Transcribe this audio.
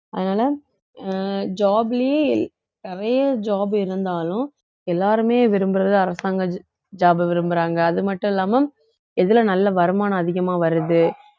அதனால அஹ் job லயே நிறைய job இருந்தாலும் எல்லாருமே விரும்புறது அரசாங்க jo~ job அ விரும்புறாங்க அது மட்டும் இல்லாம எதுல நல்ல வருமானம் அதிகமா வருது